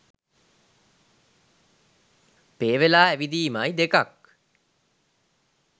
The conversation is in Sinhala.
පේ වෙලා ඇවිදීමයි දෙකක්.